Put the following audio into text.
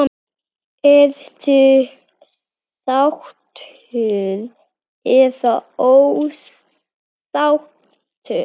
Ertu sáttur eða ósáttur?